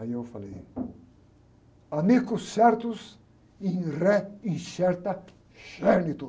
Aí eu falei.